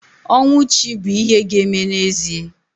Ọnwụ chi bụ ihe ga-eme n'ezie